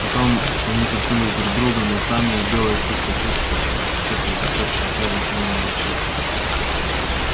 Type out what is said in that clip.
потом они коснулись друг друга носами и белый клык почувствовал как тёплый язычок щенка лизнул его в щёку